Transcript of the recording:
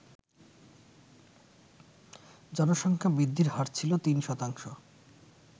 জনসংখ্যা বৃদ্ধির হার ছিল তিন শতাংশ।